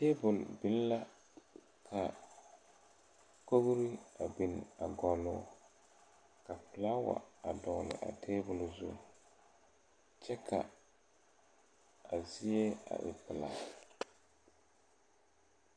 Tabol biŋ la ka kogre a biŋ a gɔlloo ka flaawa a dɔgle a tabol zu kyɛ ka a zie a e pilaa.